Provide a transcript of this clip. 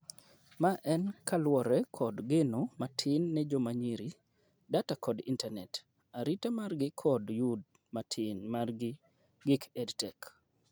ma en kaluore kod geno matin ne joma nyiri , data kod intanet, arita mar gi kod yudd matin mar gk EdTech